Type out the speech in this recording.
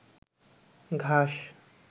ঘাস